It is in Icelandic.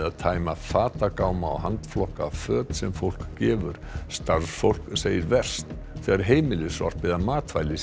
að tæma fatagáma og handflokka föt sem fólk gefur starfsfólk segir verst þegar heimilissorp eða matvæli